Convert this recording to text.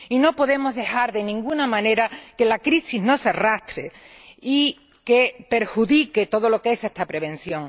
Y no podemos dejar, de ninguna manera, que la crisis nos arrastre y que perjudique todo lo que es esta prevención.